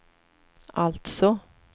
alltså